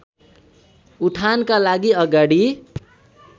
उठानका लागि अगाडि